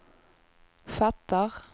fattar